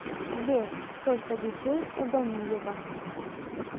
сбер сколько детей у ганеева